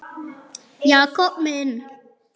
Jakob minn.